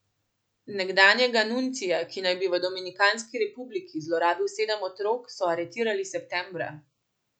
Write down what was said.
Nekdanjega nuncija, ki naj bi v Dominikanski republiki zlorabil sedem otrok, so aretirali septembra.